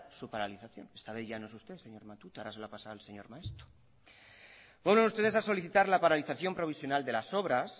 su paralización esta vez ya no es usted señor matute ahora se lo ha pasado al señor maeztu vuelven ustedes a solicitar la paralización provisional de las obras